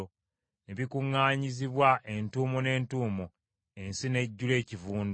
Ne bikuŋŋaanyizibwa entuumo n’entuumo; ensi n’ejjula ekivundu.